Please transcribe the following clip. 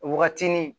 Waagatinin